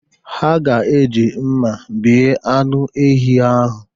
Ha ga-eji mma bee anụ ehi ahụ.